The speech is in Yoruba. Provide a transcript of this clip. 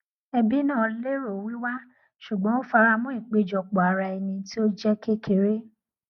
ẹbí náà lérò wíwá ṣùgbọn ó faramọ ìpéjọpọ ara ẹni tí ó jẹ kékeré